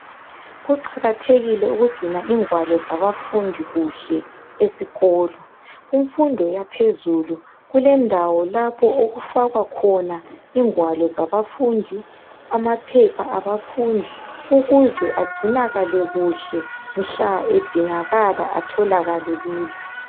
Kuqakathekile ukugcina ingwalo zabafundi kuhle esikolo. Kumfundo yaphezulu kulendawo lapho okufakwa khoba ingwalo lamaphepha abafundi ukuze mhla edingakala atholakale lula.